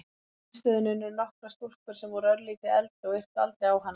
Á símstöðinni unnu nokkrar stúlkur sem voru örlítið eldri og yrtu aldrei á hana.